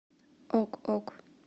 ок ок